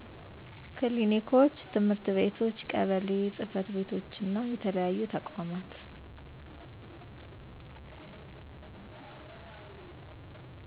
ክሊኒኮች፣ ትምህርት ቤቶች፣ ቀበሌ ጽ/ቤቶችና የተለያዩ ተቋማቶች